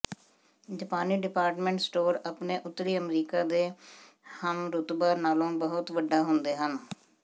ਜਾਪਾਨੀ department store ਆਪਣੇ ਉੱਤਰੀ ਅਮਰੀਕਾ ਦੇ ਹਮਰੁਤਬਾ ਨਾਲੋਂ ਬਹੁਤ ਵੱਡਾ ਹੁੰਦੇ ਹਨ